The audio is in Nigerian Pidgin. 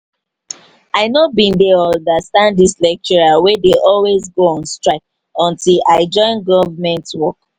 i no bin dey understand dis lecturers wey dey always go on strike until i join government join government work